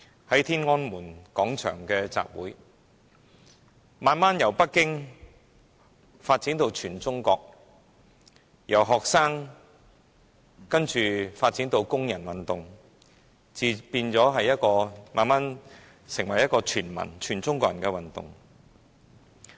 在天安門廣場的集會，慢慢由北京發展到全中國，由學生發展到工人運動，然後演變為一場全中國人的運動。